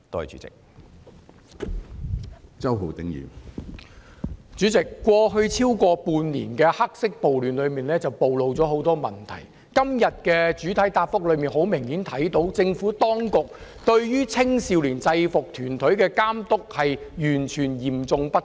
主席，在超過半年的黑色暴亂暴露了很多問題，從局長今天的主體答覆明顯看到，政府當局對於青少年制服團體的監督實在嚴重不足。